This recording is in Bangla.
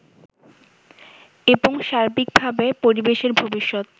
এবং সার্বিকভাবে পরিবেশের ভবিষ্যৎ